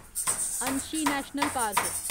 Anshi national park